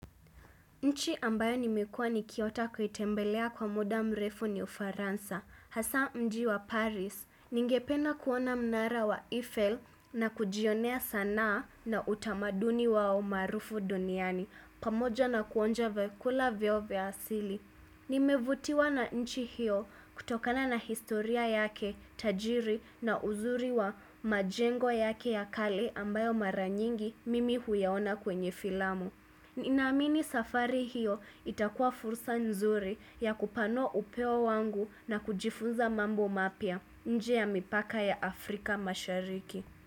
Inchi ambayo nimekua nikiota kuitembelea kwa muda mrefu ni ufaransa, hasaa mji wa Paris. Ningependa kuona mnara wa Eiffel na kujionea sanaa na utamaduni wao maarufu duniani, pamoja na kuonja vyakula vyao vya asili. Nimevutiwa na nchi hiyo kutokana na historia yake, tajiri na uzuri wa majengo yake ya kale ambayo mara nyingi mimi huyaona kwenye filamu. Ninaamini safari hiyo itakua fursa nzuri ya kupanua upeo wangu na kujifunza mambo mapya nje ya mipaka ya Afrika mashariki.